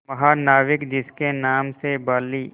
महानाविक जिसके नाम से बाली